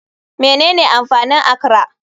Menene amfanin akra?